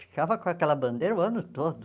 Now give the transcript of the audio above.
Ficava com aquela bandeira o ano todo.